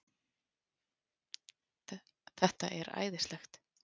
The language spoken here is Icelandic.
Þetta er æðislegt